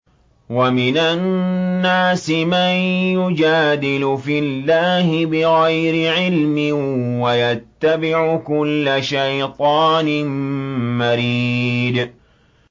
وَمِنَ النَّاسِ مَن يُجَادِلُ فِي اللَّهِ بِغَيْرِ عِلْمٍ وَيَتَّبِعُ كُلَّ شَيْطَانٍ مَّرِيدٍ